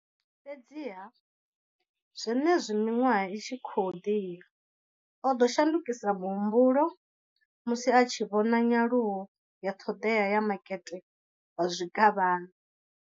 Fhedziha, zwenezwi miṅwaha i tshi khou ḓi ya, o ḓo shandukisa muhumbulo musi a tshi vhona nyaluwo ya ṱhoḓea ya makete wa zwikavhavhe.